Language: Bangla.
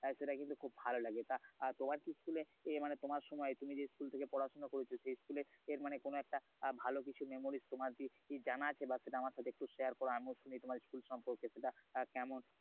সেটা কিন্তু খুব ভালো লাগে। তা তোমার কি school এ তোমার সময় তুমি যে school থেকে পড়াশোনা করেছো সেই school এ মানে কোনো একটা ভালো কিছু memories তোমার কি জানা আছে? বা সেটা আমার সাথে share করো আমিও শুনি তোমার school সম্বন্ধে সেটা কেমন